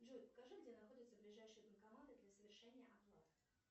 джой покажи где находятся ближайшие банкоматы для совершения оплат